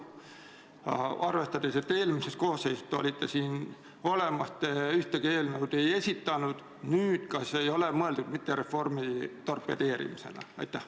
Arvestades, et eelmises koosseisus te olite siin saalis küll olemas, aga ühtegi eelnõu ei esitanud, ma küsin lihtsalt: kas teie eelnõu ei ole mitte mõeldud reformi torpedeerimiseks?